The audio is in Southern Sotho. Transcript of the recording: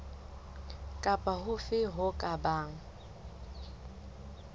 kapa hofe ho ka bang